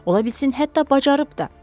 Ola bilsin hətta bacarıb da.